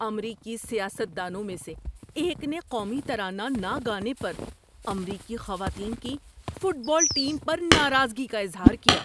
امریکی سیاست دانوں میں سے ایک نے قومی ترانہ نہ گانے پر امریکی خواتین کی فٹ بال ٹیم پر ناراضگی کا اظہار کیا۔